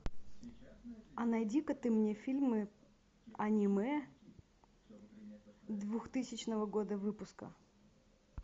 а найди ка ты мне фильмы аниме двухтысячного года выпуска